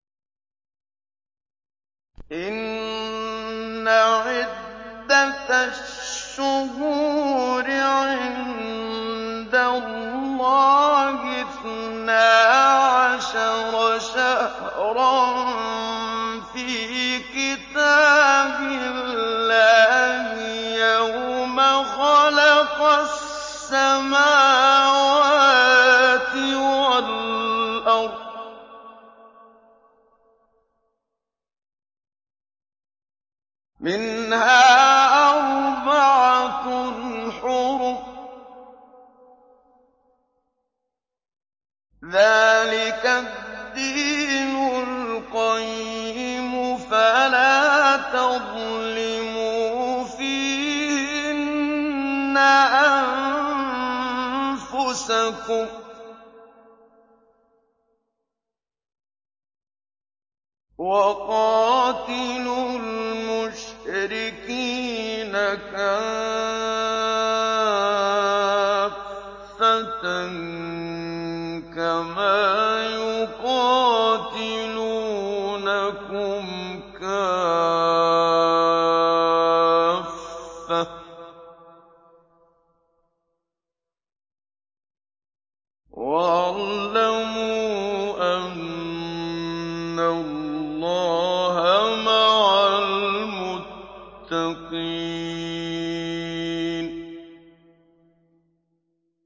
إِنَّ عِدَّةَ الشُّهُورِ عِندَ اللَّهِ اثْنَا عَشَرَ شَهْرًا فِي كِتَابِ اللَّهِ يَوْمَ خَلَقَ السَّمَاوَاتِ وَالْأَرْضَ مِنْهَا أَرْبَعَةٌ حُرُمٌ ۚ ذَٰلِكَ الدِّينُ الْقَيِّمُ ۚ فَلَا تَظْلِمُوا فِيهِنَّ أَنفُسَكُمْ ۚ وَقَاتِلُوا الْمُشْرِكِينَ كَافَّةً كَمَا يُقَاتِلُونَكُمْ كَافَّةً ۚ وَاعْلَمُوا أَنَّ اللَّهَ مَعَ الْمُتَّقِينَ